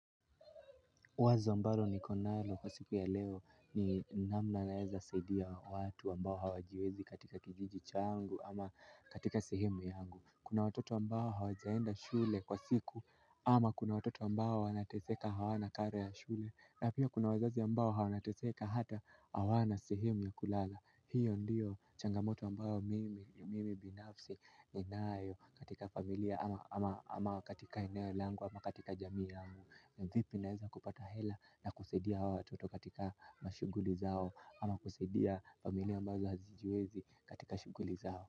Wazo ambalo niko nalo kwa siku ya leo ni namna naeza saidia watu ambao hawajiwezi katika kijiji changu ama katika sehemu yangu. Kuna watoto ambao hawajaenda shule kwa siku ama kuna watoto ambao wanateseka hawana karo ya shule. Na pia kuna wazazi ambao wanateseka hata hawana sehemu ya kulala. Hiyo ndio changamoto ambayo mimi binafsi ninayo katika familia ama katika eneo langu ama katika jamii yangu. Na vipi naeza kupata hela na kusaidia hawa watoto katika mashughuli zao. Ama kusaidia familia ambazo hazijiwezi katika shughuli zao.